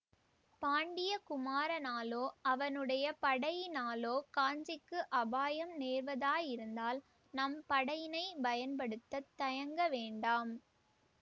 பாண்டிய குமாரனாலோ அவனுடைய படையினாலோ காஞ்சிக்கு அபாயம் நேர்வதாயிருந்தால் நம் படையினை பயன் படுத்தத் தயங்க வேண்டாம்